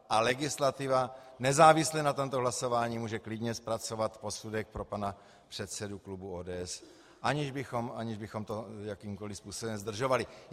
A legislativa nezávisle na tomto hlasování může klidně zpracovat posudek pro pana předsedu klubu ODS, aniž bychom to jakýmkoliv způsobem zdržovali.